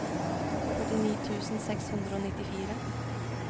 førtini tusen seks hundre og nittifire